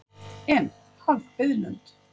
En, haf biðlund.